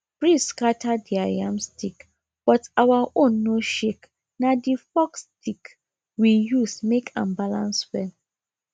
breeze scatter their yam stick but our own no shakena the forked stick we use make am balance well